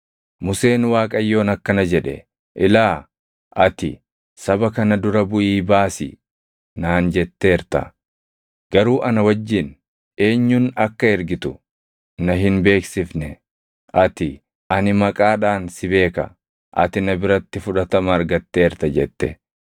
Museen Waaqayyoon akkana jedhe; “Ilaa, ati, ‘saba kana dura buʼii baasi’ naan jetteerta; garuu ana wajjin eenyun akka ergitu na hin beeksifne. Ati, ‘Ani maqaadhaan si beeka; ati na biratti fudhatama argateerta’ jette.